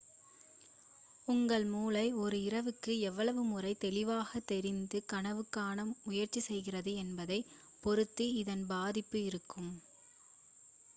உங்கள் மூளை ஒரு இரவுக்கு எவ்வளவு முறை தெளிவாக தெரிந்து கனவு காண முயற்சிக்கிறது என்பதைப் பொறுத்து இதன் பாதிப்பு இருக்கும்